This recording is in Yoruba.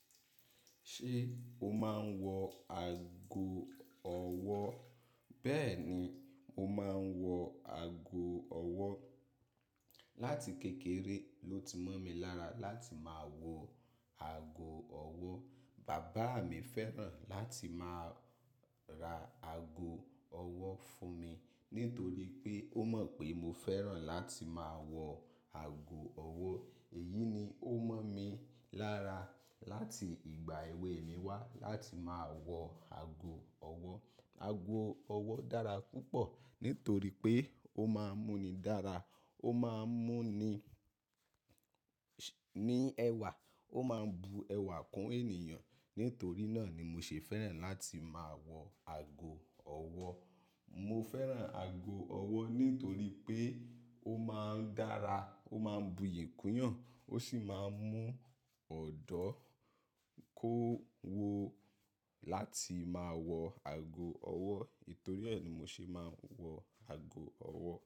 Ṣé o máa ń wọ ago ọwọ́? Bẹ́ẹ̀ni, mo máa ń wọ aago ọwọ́. Lati kékeré ló ti mọ̀ mi lára láti máa wọ aago ọwọ́. Bàbá mi fẹ́ràn láti máa ra ago ọwọ́ fún mi nítorí pé ó mọ̀ pé mo fẹ́ràn láti máa wọ ago ọwọ́. Èyí ni ó mọ̀ mi lára láti ìgbà èwe mi wá láti máa wọ ago ọwọ́. Aago ọwọ́ dára púpọ̀ nítorí pé ó máa ń mú ni dára, ó máa ń mú ní, ní ẹwà, ó máa ń bu ẹwà kún ènìyàn. Nítorí náà ni mo ṣe fẹ́ràn láti máa wọ ago ọwọ́. Mo fẹ́ràn aago ọwọ́ nítorí pé ó máa ń dára, ó máa ń buyì kún yàn, ó sì máa ń mú ọ̀dọ́ kó wo láti máa wọ aago ọwọ́. Nítorí e ni mo ṣe máa ń wọ aago ọwọ́.